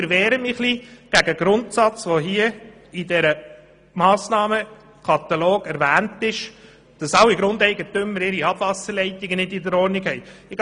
Mit dieser Massnahme wird suggeriert, dass kein Grundeigentümer seine Abwasserleitungen in Ordnung hält.